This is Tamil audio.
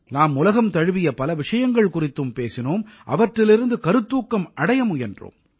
நாம் உலகம் தழுவிய பல விஷயங்கள் குறித்தும் பேசினோம் அவற்றிலிருந்து கருத்தூக்கம் அடைய முயன்றோம்